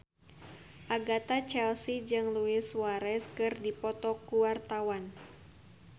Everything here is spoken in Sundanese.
Agatha Chelsea jeung Luis Suarez keur dipoto ku wartawan